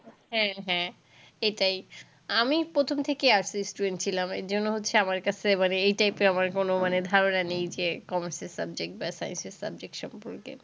হ্যাঁ হ্যাঁ, এটাই। আমি প্রথম থেকেই arts এর student ছিলাম, এর জন্য হচ্ছে আমার কাছে মানে এই type এর আমার কোন ধারণা নেই যে commerce এর subject বা arts এর subject সম্পর্কে।